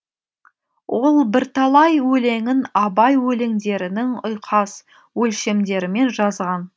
ол бірталай өлеңін абай өлеңдерінің ұйқас өлшемдерімен жазған